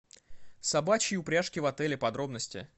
собачьи упряжки в отеле подробности